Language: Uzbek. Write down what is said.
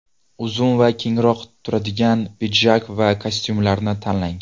Uzun va kengroq turadigan pidjak va kostyumlarni tanlang.